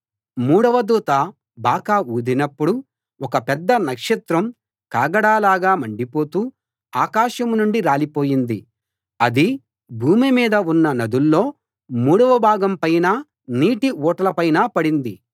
మూడవ దూత బాకా ఊదినప్పుడు ఒక పెద్ద నక్షత్రం కాగడాలాగా మండిపోతూ ఆకాశం నుండి రాలిపోయింది అది భూమి మీద ఉన్న నదుల్లో మూడవ భాగం పైనా నీటి ఊటల పైనా పడింది